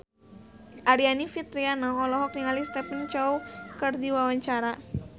Aryani Fitriana olohok ningali Stephen Chow keur diwawancara